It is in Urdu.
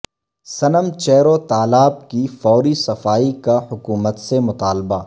سنم چیرو تالاب کی فوری صفائی کا حکومت سے مطالبہ